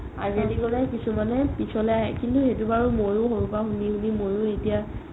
আগেদি গ'লে কিছুমানে পিছলৈ আহে কিন্তু সেইটো বাৰু মইও সৰুৰ পা শুনি শুনি এতিয়া